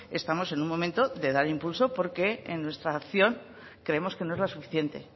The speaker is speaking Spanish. estamos en un momento de dar impulso porque en nuestra acción creemos que no es la suficiente